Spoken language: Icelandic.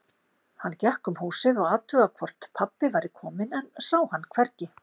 Hann gekk um húsið og athugaði hvort pabbi væri kominn, en sá hann hvergi.